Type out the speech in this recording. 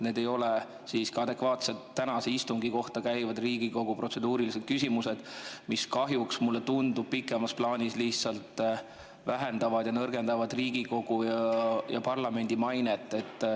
Need ei ole siiski adekvaatselt tänase Riigikogu istungi kohta käivad protseduurilised küsimused, nad kahjuks, mulle tundub, pikemas plaanis lihtsalt nõrgendavad Riigikogu, parlamendi mainet.